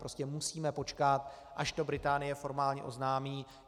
Prostě musíme počkat, až to Británie formálně oznámí.